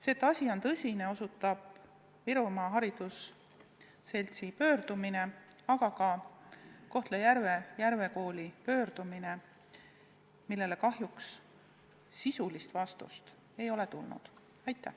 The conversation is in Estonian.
Sellele, et asi on tõsine, osutab Virumaa haridusseltsi pöördumine, aga ka Kohtla-Järve Järve Kooli pöördumine, millele kahjuks sisulist vastust ei ole antud.